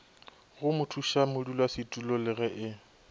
go mothušamodulasetulo le ge e